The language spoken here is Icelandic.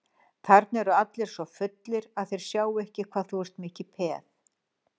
Þarna eru allir svo fullir að þeir sjá ekki hvað þú ert mikið peð.